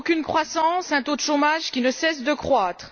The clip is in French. Aucune croissance et un taux de chômage qui ne cesse de croître.